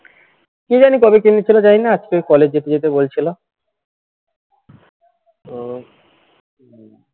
কি জানি কবে কিনেছিলে জানিনা আজকে college যেতে যেতে বলছিল তো